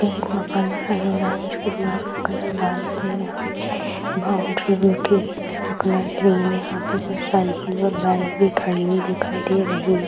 पे एक मकान दिखाई दे रहा है जिसके दीवाल का कलर वाइट है और यहाँ पे बाउंड्री भी उठी है जिसका कलर ग्रीन यहाँ पे कुछ साइकिल और बाइक भी खड़ी हुई दिखाई दे रही है |